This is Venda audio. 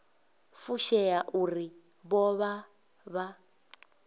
fushea uri vho vha vha